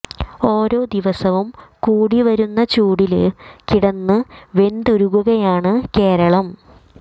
ഓരോ ദിവസവും കൂടി വരുന്ന ചൂടില് കിടന്ന് വെന്തുരുകുകയാണ് കേരളം